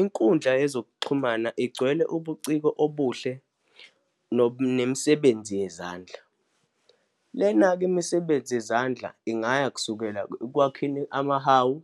Inkundla yezokuxhumana igcwele ubuciko obuhle nemisebenzi yezandla. Lena-ke imisebenzi yezandla ingaya kusukela ekwakheni amahawu,